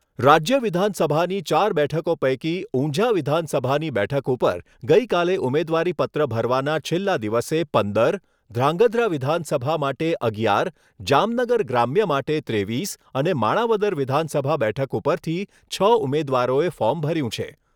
રાજ્ય વિધાનસભાની ચાર બેઠકો પૈકી ઊંઝા વિધાનસભાની બેઠક ઉપર ગઈકાલે ઉમેદવારીપત્ર ભરવાના છેલ્લા દિવસે પંદર, ધ્રાંગધ્રા વિધાનસભા માટે અગિયાર, જામનગર ગ્રામ્ય માટે ત્રેવીસ અને માણાવદર વિધાનસભા બેઠક ઉપરથી છ ઉમેદવારોએ ફોર્મ ભર્યું છે.